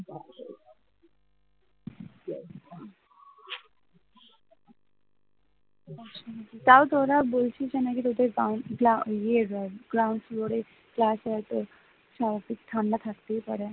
তাও তোরা বলছিস তো যে তোদের তো নাকি লা ইয়ে ground floor এ ক্লাস হয় তো ঠান্ডা থাকতেই পারে